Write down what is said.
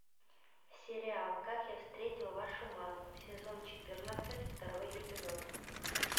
сериал как я встретил вашу маму сезон четырнадцать второй эпизод